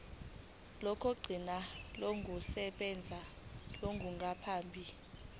lokugcina lokusebenza olungaphambi